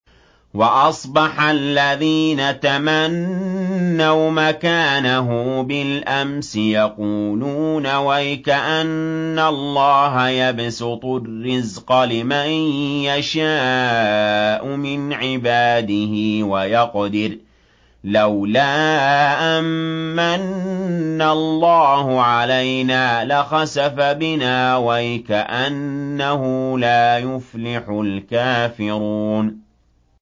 وَأَصْبَحَ الَّذِينَ تَمَنَّوْا مَكَانَهُ بِالْأَمْسِ يَقُولُونَ وَيْكَأَنَّ اللَّهَ يَبْسُطُ الرِّزْقَ لِمَن يَشَاءُ مِنْ عِبَادِهِ وَيَقْدِرُ ۖ لَوْلَا أَن مَّنَّ اللَّهُ عَلَيْنَا لَخَسَفَ بِنَا ۖ وَيْكَأَنَّهُ لَا يُفْلِحُ الْكَافِرُونَ